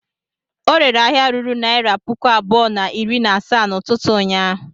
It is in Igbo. Ọ rere ahịa ruru naịra puku abụọ na iri na asaa n'ụtụtụ ụnyaahụ?